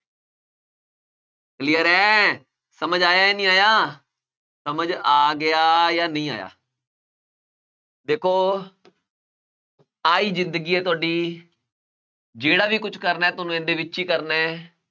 clear ਹੈ, ਸਮਝ ਆਇਆ ਜਾਂ ਨਹੀਂ ਆਇਆ, ਸਮਝ ਆ ਗਿਆ ਜਾਂ ਨਹੀਂ ਆਇਆ ਦੇਖੋ ਆਹੀ ਜ਼ਿੰਦਗੀ ਹੈ ਤੁਹਾਡੀ ਜਿਹੜਾ ਵੀ ਕੁਛ ਕਰਨਾ ਹੈ ਤੁਹਾਨੂੰ ਇਹਦੇ ਵਿੱਚ ਹੀ ਕਰਨਾ ਹੈ,